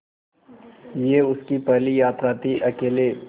यह उसकी पहली यात्रा थीअकेले